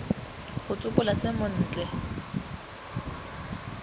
go tsopola se mo otle